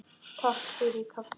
Takk fyrir kaffið.